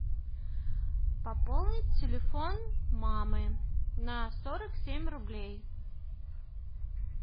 пополнить телефон мамы на сорок семь рублей